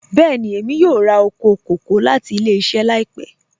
Bẹẹ̀ni, emi yọ̀ọ̀ rà oko kọkọ̀ lati ilẹ̀-iṣẹ laipẹ